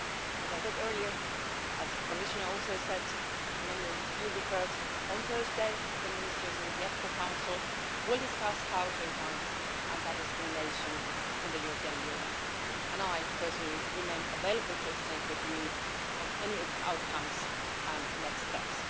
As I said earlier, as the Commissioner also said, and many of you referred to, on Thursday, the Ministers in the EPSCO Council will discuss how to enhance anti-discrimination in the European Union. I personally remain available to exchange with you on any outcomes and next steps.